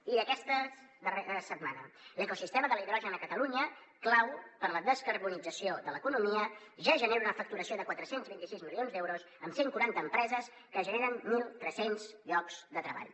i d’aquesta darrera setmana l’ecosistema de l’hidrogen a catalunya clau per a la descarbonització de l’economia ja genera una facturació de quatre cents i vint sis milions d’euros amb cent quaranta empreses que generen mil tres cents llocs de treball